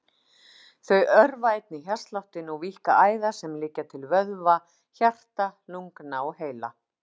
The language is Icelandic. Þau örva einnig hjartsláttinn og víkka æðar sem liggja til vöðva, hjarta, lungna og heila.